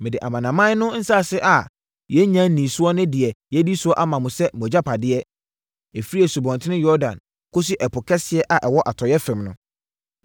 Mede amanaman no nsase a yɛnnya nnii soɔ ne deɛ yɛadi soɔ ama mo sɛ mo agyapadeɛ, ɛfiri Asubɔnten Yordan kɔsi Ɛpo Kɛseɛ a ɛwɔ atɔeɛ fam no.